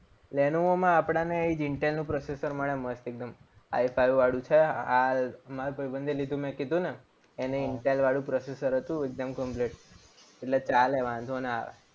લેનોવોમાં આપણને intel નું processor મળે મસ્ત એકદમ i five વાળું છે. હાલ મારા ભાઈબંધે લીધું મેં કીધું ને એને intel processor હતું. એકદમ complete એટલે ચાલે વાંધો ના આવે.